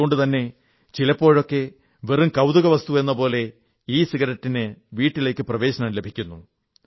അതുകൊണ്ടുതന്നെ ചിലപ്പോഴൊക്കെ വെറും കൌതുകവസ്തുവെന്നപോലെ ഇസിഗരറ്റിന് വീട്ടിലേക്ക് പ്രവേശനം ലഭിക്കുന്നു